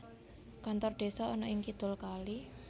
Kantor Desa ana ing kidul kali